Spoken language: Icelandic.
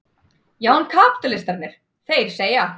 Já en kapítalistarnir, þeir segja.